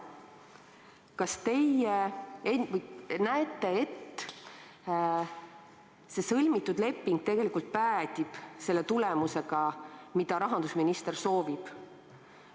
Kas teie näete, et see sõlmitud leping päädib selle tulemusega, mida rahandusminister soovib?